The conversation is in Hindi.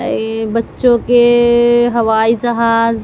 ये बच्चों के हवाई जहाज--